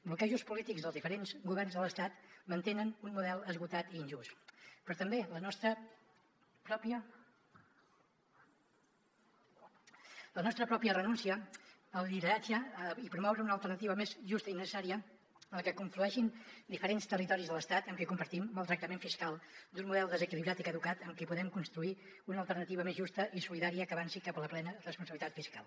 bloquejos polítics dels diferents governs de l’estat mantenen un model esgotat i injust però també la nostra pròpia renúncia al lideratge i promoure una alternativa més justa i necessària en què conflueixin diferents territoris de l’estat amb qui compartim maltractament fiscal d’un model desequilibrat i caducat amb qui podem construir una alternativa més justa i solidària que avanci cap a la plena responsabilitat fiscal